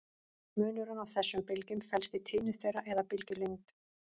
Munurinn á þessum bylgjum felst í tíðni þeirra eða bylgjulengd.